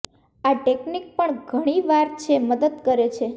આ ટેકનિક પણ ઘણી વાર છે મદદ કરે છે